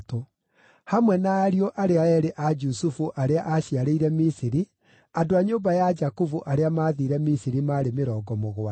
Hamwe na ariũ arĩa eerĩ a Jusufu arĩa aaciarĩire Misiri, andũ a nyũmba ya Jakubu arĩa maathiire Misiri maarĩ mĩrongo mũgwanja.